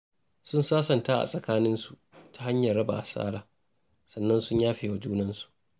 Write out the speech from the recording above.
Sun sansanta a tsakaninsu ta hanyar raba asara, sannan sun yafe wa juna.